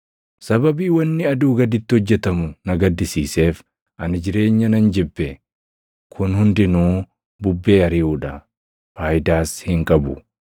Sababii wanni aduu gaditti hojjetamu na gaddisiiseef ani jireenya nan jibbe; kun hundinuu bubbee ariʼuu dha; faayidaas hin qabu.